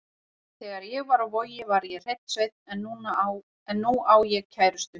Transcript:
Þegar ég var á Vogi var ég hreinn sveinn en nú á ég kærustu.